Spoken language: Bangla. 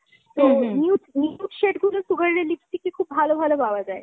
তো nude, nude shade গুলো Sugar এর lipstick এর খুব ভালো ভালো পাওয়া যায়।